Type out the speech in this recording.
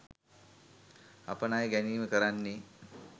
අප ණය ගැනීම කරන්නේ